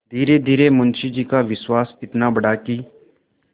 धीरेधीरे मुंशी जी का विश्वास इतना बढ़ा कि